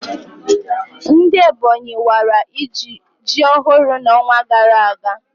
Ndị Ebonyi wara ji ọhụrụ na onwa gara aga